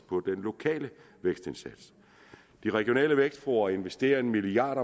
på den lokale vækstindsats de regionale vækstfora investerer en milliard